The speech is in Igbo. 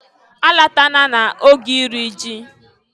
Alatana na oge iri ji!